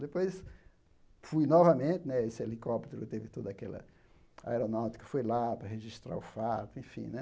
Depois, fui novamente né, esse helicóptero que teve toda aquela a aeronáutica, foi lá para registrar o fato, enfim né.